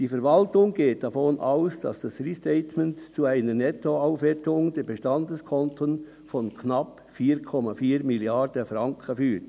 Die Verwaltung geht davon aus, dass das Restatement zu einer Nettoaufwertung der Bestandeskonten von knapp 4,4 Milliarden Franken führt.